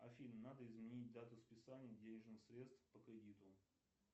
афина надо изменить дату списания денежных средств по кредиту